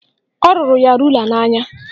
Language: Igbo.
Ọ rụrụ ya rula n'anya